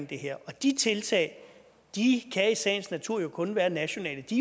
det her og de tiltag kan i sagens natur jo kun være nationale de